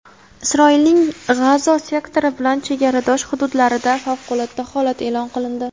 Isroilning G‘azo sektori bilan chegaradosh hududlarida favqulodda holat eʼlon qilindi.